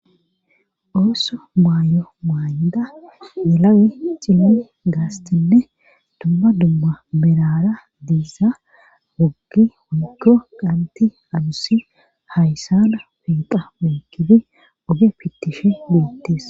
Ooso maayo maaynda yelawe cimni gaastinne dumma dumma merara diiza woggi wonikko qanti adusi hayssana peeqa wenkidi oge pittishi buittes